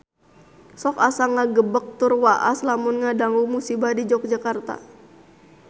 Sok asa ngagebeg tur waas lamun ngadangu musibah di Yogyakarta